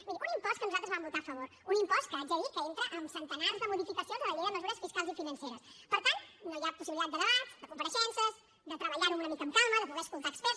miri un impost que nosaltres vam votar a favor un impost que haig de dir que entra amb centenars de modificacions a la llei de mesures fiscals i financeres per tant no hi ha possibilitat de debat de compareixences de treballar ho una mica amb calma de poder escoltar experts